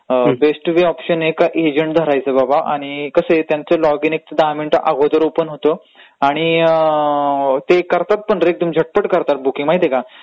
Best way option आहे का agent धरायचा बाबा आणि कसं आहे त्यांचं लॉग इन एक दहा मिनिटं अगोदर ओपन होतं आणि ते करतात पण रे एकदम झटपट, झटपट करतात बुकींग माहितेय का.